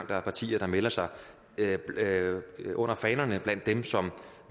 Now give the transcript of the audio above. der er partier der melder sig under fanerne blandt dem som